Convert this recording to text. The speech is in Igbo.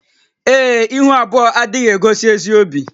Ee e, ihu abụọ adịghị egosi ezi obi